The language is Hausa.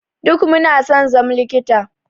Duk Muna son zam likita.